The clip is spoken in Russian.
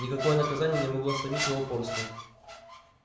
никакое наказание не могло сломить его упорство